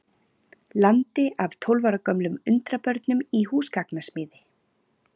landi af tólf ára gömlum undrabörnum í húsgagnasmíði.